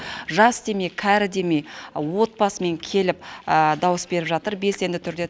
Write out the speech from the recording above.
жас демей кәрі демей отбасымен келіп дауыс беріп жатыр белсенді түрде